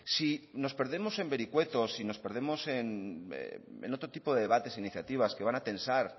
si nos perdemos en vericuetos si nos perdemos en otro tipo de debates e iniciativas que van a tensar